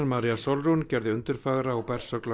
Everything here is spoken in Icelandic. María Sólrún gerði undurfagra og